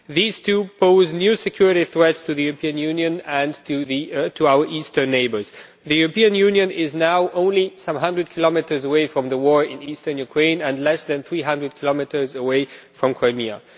These two pose new security threats to the European Union and to our eastern neighbours. The European Union is now only some 100 kilometres away from the war in eastern Ukraine and less than 300 kilometres away from Crimea.